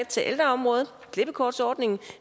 til ældreområdet klippekortsordningen